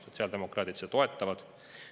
Sotsiaaldemokraadid seda toetavad.